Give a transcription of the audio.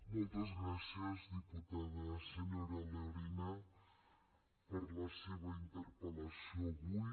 moltes gràcies diputada senyora lorena per la seva interpellació d’avui